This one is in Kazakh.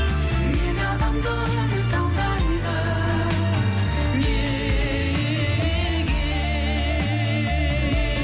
неге адамды үміт алдайды неге